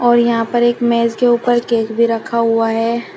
और यहां पर एक मेज के ऊपर केक भी रखा हुआ है।